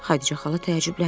Xədicə xala təəccübləndi.